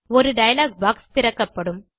ஒரு dialog box திறக்கப்படும்